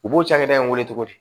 U b'o cakɛda in weele cogo di